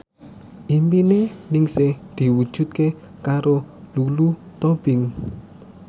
impine Ningsih diwujudke karo Lulu Tobing